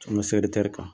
kan